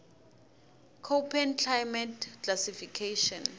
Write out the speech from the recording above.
koppen climate classification